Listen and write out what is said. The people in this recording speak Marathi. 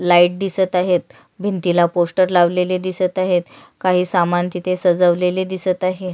लाइट दिसत आहेत भिंतीला पोस्टर लावलेले दिसत आहेत काही समान तिथे सजवलेले दिसत आहे.